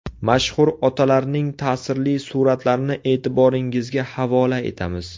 Mashhur otalarning ta’sirli suratlarini e’tiboringizga havola etamiz.